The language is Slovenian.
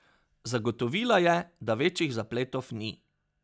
Zagotovila je, da večjih zapletov ni.